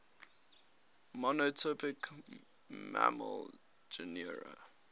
monotypic mammal genera